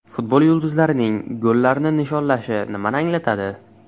Futbol yulduzlarining gollarni nishonlashi nimani anglatadi?.